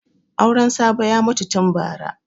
Auren Sabo ya mutu tun bara.